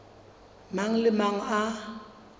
mang le a mang a